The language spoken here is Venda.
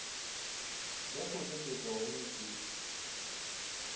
dza khou nekedzwa hone dzi